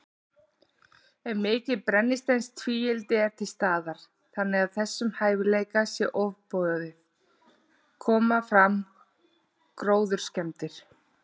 Ef mikið brennisteinstvíildi er til staðar, þannig að þessum hæfileika sé ofboðið, koma fram gróðurskemmdir.